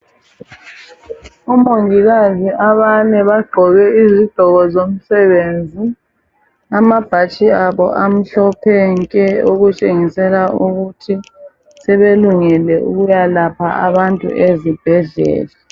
Omongikazi abane bagqoke izigqoko zomsebenzi amabhatshi abo amhlophe nke okutshengisela ukuthi sebelungele ukuyalapha abantu ezibhedlela.